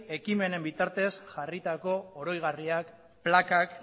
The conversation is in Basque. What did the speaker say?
ekimenen bitartez jarritako oroigarriak plakak